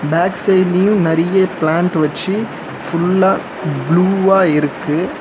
Back சைட்லியு நறிய plant வச்சி ஃபுல்லா ப்ளூவா இருக்கு.